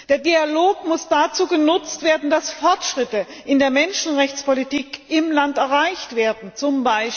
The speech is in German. Der Dialog muss dazu genutzt werden, dass Fortschritte in der Menschenrechtspolitik im Land erreicht werden, z.